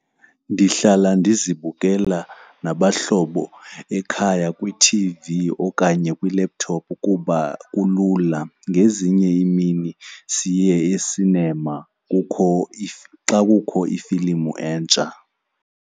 Ndihlala ndizibukela nabahlobo ekhaya kwithivi okanye kwi-laptop kuba kulula. Ngezinye iimini siye esinema kukho if, xa kukho ifilimu entsha.